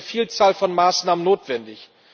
Es ist jetzt eine Vielzahl von Maßnahmen notwendig.